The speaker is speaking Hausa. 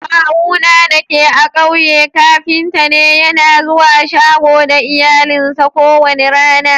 Kawuna dake a'ƙauye kafinta ne. Yana zuwa shago da iyalinsa ko wani rana.